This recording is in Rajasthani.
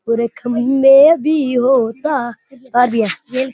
उरे खंबे भी होता है गा दिया ये --